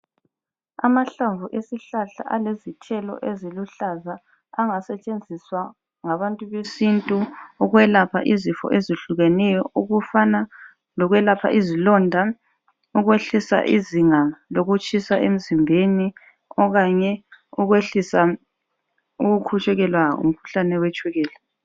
Amahlamvu esihlahla alezithelo eziluhlaza angasetshenziswa ngabantu besintu ukwelapha izifo ezehlukeneyo okufana lokwelapha izilonda ,ukwehlisa izinga lokutshisa emzimbeni okanye ukwehlisa ukukhutshukelwa ngumkhuhlane wetshukela